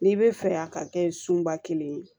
N'i bɛ fɛ yan ka kɛ sunba kelen ye